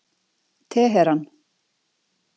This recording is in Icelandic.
Teheran